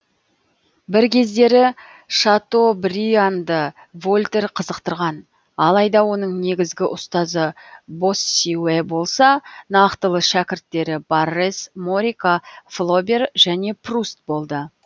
бір кездері шатобрианды вольтер қызықтырған алайда оның негізгі ұстазы боссюэ болса нақтылы шәкірттері баррес морика флобер және пруст болды